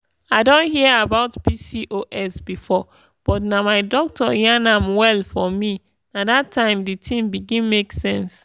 i don hear about pcos before but as my doctor yan am well for me nah dat time the thing begin make sense.